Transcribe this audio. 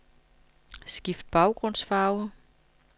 Skift baggrundsfarve.